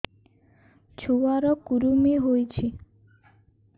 ଛୁଆ ର କୁରୁମି ହୋଇଛି